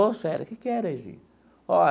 Ô Célia. Que que é, Neyzinho?